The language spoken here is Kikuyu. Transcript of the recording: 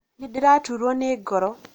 nĩdĩraturũo nĩ ngoro